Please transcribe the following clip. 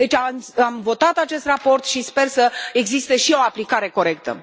Deci am votat acest raport și sper să existe și o aplicare corectă.